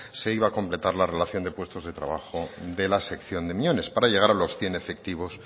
se iba completar la relación de puestos de trabajo de la sección de miñones para llegar a los cien efectivos